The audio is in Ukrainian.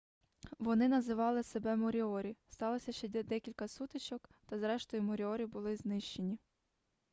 вони називали себе моріорі сталося ще декілька сутичок та зрештою моріорі були знищені